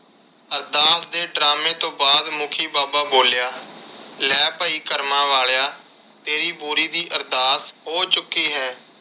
ਅਰਦਾਸ ਦੇ drama ਤੋਂ ਬਾਅਦ ਮੁਖੀ ਬਾਬਾ ਬੋਲਿਆ, ਲੈ ਭਾਈ ਕਰਮਾ ਵਾਲਿਆਂ ਤੇਰੀ ਬੋਰੀ ਦੀ ਅਰਦਾਸ ਹੋ ਚੁੱਕੀ ਹੈ।